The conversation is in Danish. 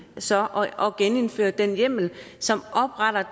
så at genindføre den hjemmel som opretter